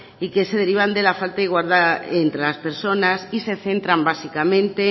y que se derivan de la falta de igualdad entre las personas y se centran básicamente